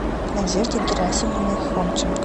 надеждой герасимовной хомченко